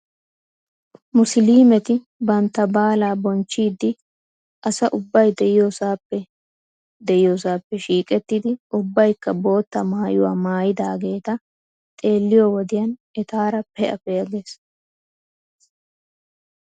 Musliimeti bantta baalaa bonchchiiddi asa ubbay diyoosaappe diyoosaappe shiiqettidi ubbaykka bootta maayuwaa maayidaageeta xeelliyoo wodiyan etaara pee'a pee'a ges .